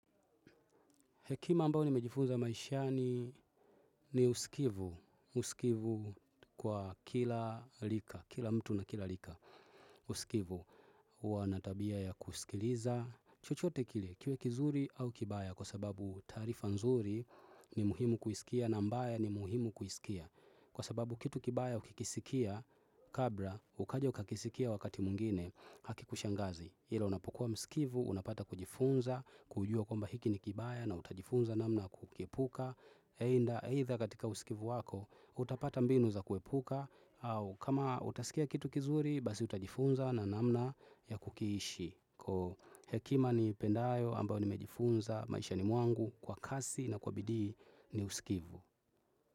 Hekima ambao nimejifunza maishani ni usikivu, usikivu kwa kila rika, kila mtu na kila rika, usikivu huwa na tabia ya kusikiliza. Chochote kile, kiwe kizuri au kibaya kwa sababu taarifa nzuri ni muhimu kuisikia na ambayo ni muhimu kuisikia. Kwa sababu kitu kibaya ukikisikia, kabla ukaja ukakisikia wakati mwingine haki kushangazi. Ila unapokuwa msikivu, unapata kujifunza, kujua kwamba hiki ni kibaya na utajifunza namna ya kukiepuka. Aidha katika usikivu wako, utapata mbinu za kuepuka au kama utasikia kitu kizuri, basi utajifunza na namna ya kukiishi. Kwa hekima nipendayo ambayo nimejifunza maishani mwangu kwa kasi na kwa bidii ni usikivu.